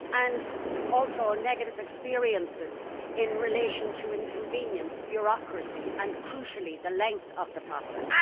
and also negative experiences in relation to inconvenience, bureaucracy and, crucially, the length of the process.